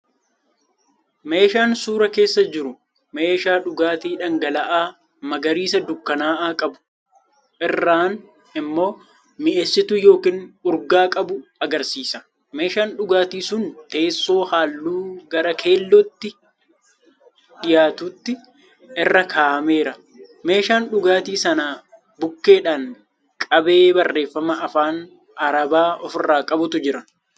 Meeshaan suuraa keessa jiru meeshaa dhugaatii dhangala’aa magariisa dukkanaa'aa qabu, irraan immoo mi'eessituu yookiin urgaa qabu agarsiisa. Meeshaan dhugaatii sun teessoo halluu gara keelloo itti dhiyaatutti irra kaahameera. Meeshaan dhugaatii sana bukkeedhaan qabee barreeffama afaan arabaa ofirraa qabutu jira.